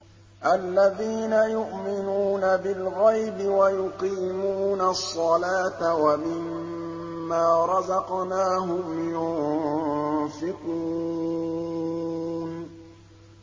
الَّذِينَ يُؤْمِنُونَ بِالْغَيْبِ وَيُقِيمُونَ الصَّلَاةَ وَمِمَّا رَزَقْنَاهُمْ يُنفِقُونَ